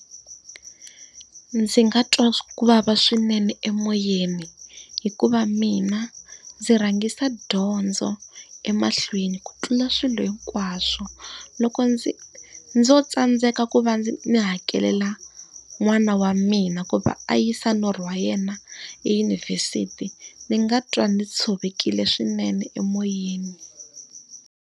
Ndzi nga twa ku vava swinene emoyeni, hikuva mina ndzi rhangisa dyondzo emahlweni ku tlula swilo hinkwaswo. Loko ndzi ndzo tsandzeka ku va ndzi hakelela n'wana wa mina ku va a yisa norho wa yena eyunivhesiti, ndzi nga twa ndzi tshovekile swinene emoyeni.